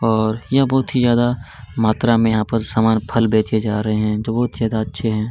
और यहाँ बहुत ही ज्यादा मात्रा में समान फल बेचे जा रहै हैं जो बहुत ज्यादा अच्छे हैं।